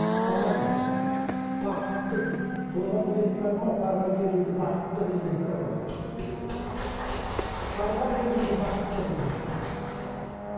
балам бақытты боламын деп барма барған жеріңді бақытты қыл деп барады барған жеріңді бақытты қыл деп